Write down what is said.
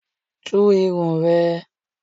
Tú irun ẹ!